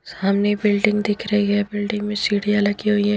सामने बिल्डिंग दिख रही है बिल्डिंग में सीढ़ियां लगी हुई है।